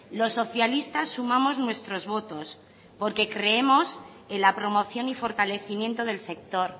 los socialistas sumamos nuestros votos porque creemos en la promoción y fortalecimiento del sector